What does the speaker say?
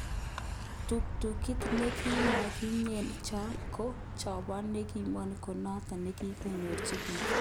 ptuktukit nekimokyike ko chobon nikibokeny ko noton nekikochin biik